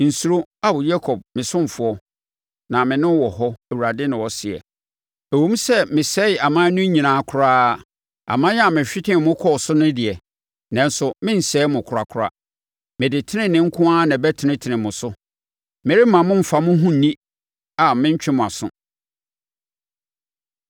Nsuro, Ao, Yakob me ɔsomfoɔ; na me ne wɔ hɔ,” Awurade na ɔseɛ. “Ɛwom sɛ mesɛe aman no nyinaa koraa, aman a mehwetee mo kɔɔ so no deɛ, nanso merensɛe mo korakora. Mede tenenee nko ara na ɛbɛtenetene mo so; meremma mommfa mo ho nni a merentwe mo aso.”